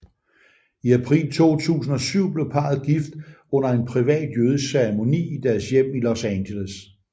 I april 2007 blev parret gift under en privat jødisk ceremoni i deres hjem i Los Angeles